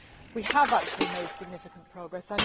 We have actually made significant progress